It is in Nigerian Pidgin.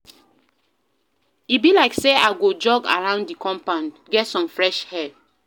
E be like sey I go jog around di compound, get some fresh air.